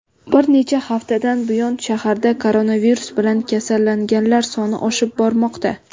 bir necha haftadan buyon shaharda koronavirus bilan kasallanganlar soni oshib bormoqda.